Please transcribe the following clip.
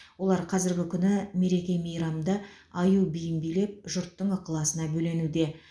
олар қазіргі күні мереке мейрамда аю биін билеп жұрттың ықыласына бөленуде